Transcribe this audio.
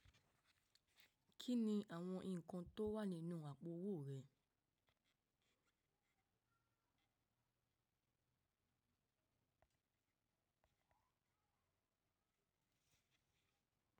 Kí ni àwọn ǹkan tó wà nínú àpò-owó rẹ?